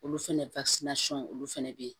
Olu fɛnɛ olu fɛnɛ be yen